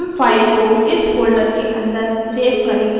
हम फाइल को इस फोल्डर के अंदर सेव करेंगे